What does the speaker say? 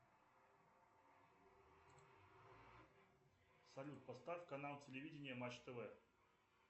салют поставь канал телевидения матч тв